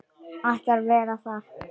Ætlar að vera þar.